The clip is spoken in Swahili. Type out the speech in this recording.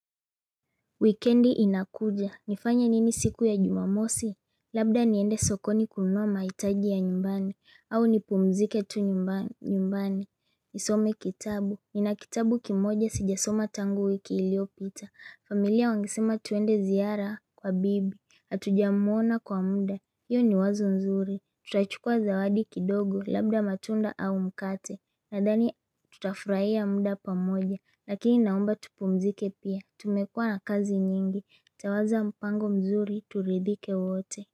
Wikendi inakuja, nifanye nini siku ya jumamosi? Labda niende sokoni kununua mahitaji ya nyumbani, au nipumzike tu nyumbani. Nisome kitabu, nina kitabu kimoja sijasoma tangu wiki iliyopita. Familia wangesema tuende ziara kwa bibi, hatujamwona kwa muda. Hiyo ni wazo nzuri, tutachukua zawadi kidogo, labda matunda au mkate. Nadhani tutafurahia muda pamoja, lakini naomba tupumzike pia. Tumekuwa na kazi nyingi. Tawaza mpango mzuri. Turidhike wote.